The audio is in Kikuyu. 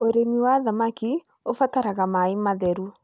Ũrĩmi wa thamaki ũbataraga maĩ matheru.